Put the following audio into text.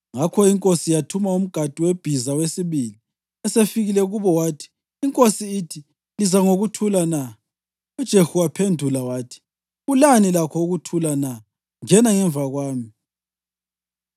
Ngakho inkosi yathuma umgadi webhiza wesibili. Esefikile kubo wathi, “Inkosi ithi: ‘Liza ngokuthula na?’ ” UJehu waphendula wathi, “Ulani lakho ukuthula na? Ngena ngemva kwami.”